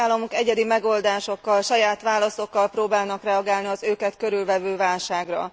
A tagállamok egyedi megoldásokkal, saját válaszokkal próbálnak reagálni az őket körülvevő válságra.